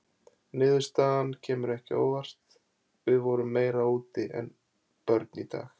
Niðurstaðan kemur ekki á óvart: við vorum meira úti en börn í dag.